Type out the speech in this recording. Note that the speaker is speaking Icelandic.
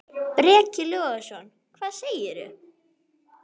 Breki Logason: Hvað segir þú?